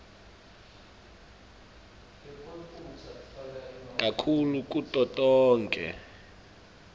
kakhulu kuto tonkhe